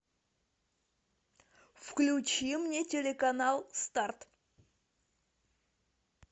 включи мне телеканал старт